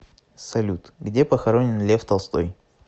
салют где похоронен лев толстой